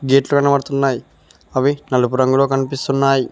గేట్లు కనబడుతున్నాయి అవి నలుపు రంగులో కనిపిస్తున్నాయి.